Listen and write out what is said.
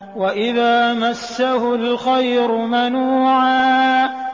وَإِذَا مَسَّهُ الْخَيْرُ مَنُوعًا